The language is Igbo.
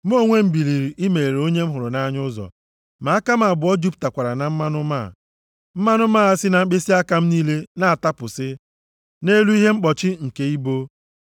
Mụ onwe m biliri imeghere onye m hụrụ nʼanya ụzọ, ma aka m abụọ jupụtakwara na mmanụ máá, mmanụ máá si na mkpịsịaka m niile na-atapụsi, nʼelu ihe mkpọchi nke ibo.